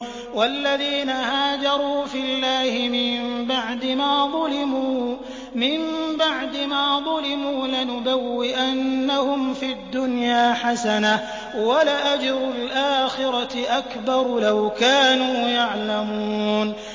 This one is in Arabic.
وَالَّذِينَ هَاجَرُوا فِي اللَّهِ مِن بَعْدِ مَا ظُلِمُوا لَنُبَوِّئَنَّهُمْ فِي الدُّنْيَا حَسَنَةً ۖ وَلَأَجْرُ الْآخِرَةِ أَكْبَرُ ۚ لَوْ كَانُوا يَعْلَمُونَ